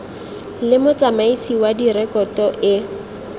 le motsamaisi wa direkoto e